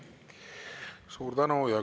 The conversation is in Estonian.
Suur tänu!